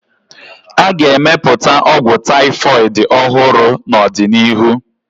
A ga-emepụta ọgwụ taifọịd ọhụrụ n'ọdịnihu.